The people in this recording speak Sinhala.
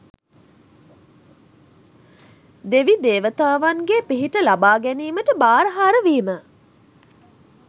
දෙවි දේවතාවන්ගේ පිහිට ලබා ගැනීමට භාරහාර වීම